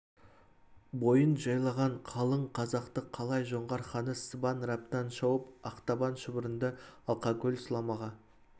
бойын жайлаған қалың қазақты қалай жоңғар ханы сыбан раптан шауып ақтабан шұбырынды алқа көл сұламаға